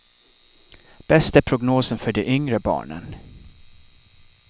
Bäst är prognosen för de yngre barnen.